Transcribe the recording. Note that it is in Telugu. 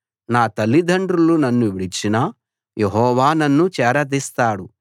నా తల్లిదండ్రులు నన్ను విడిచినా యెహోవా నన్ను చేరదీస్తాడు